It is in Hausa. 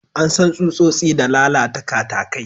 An san tsutsotsi da lalata katakai.